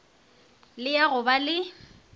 le ya go ba le